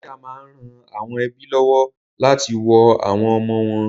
Dékià máa ń ran àwọn ẹ́bí lọ́wọ́ láti wo àwọn ọmọ wọn